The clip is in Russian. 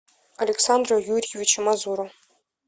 александру юрьевичу мазуру